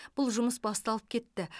бұл жұмыс басталып кетті